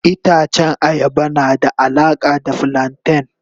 Itacen ayaba na da alaka da flanten.